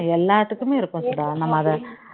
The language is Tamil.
எல்லாத்துக்குமே இருக்கும் சுதா நம்ம அதை